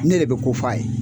Ne de bɛ ko fɔ a ye.